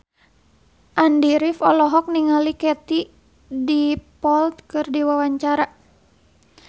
Andy rif olohok ningali Katie Dippold keur diwawancara